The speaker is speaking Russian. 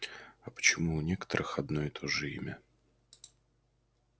а почему у некоторых одно и то же имя